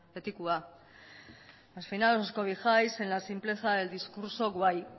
betikoa al final os cobijáis en la simpleza del discurso guay